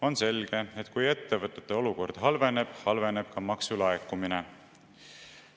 On selge, et kui ettevõtete olukord halveneb, siis halveneb ka maksulaekumine.